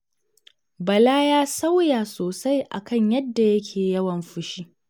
Bala ya sauya sosai a kan yadda yake yawan fushi.